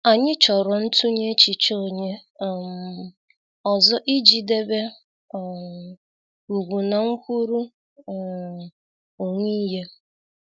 Anyị chọrọ ntunye echiche onye um ọzọ ị ji debe um ugwu na nkwuru um onwe ihe.